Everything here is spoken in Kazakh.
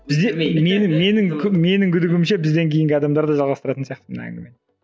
менің күдігім ше бізден кейінгі адамдар да жалғастыратын сияқты мына әңгімені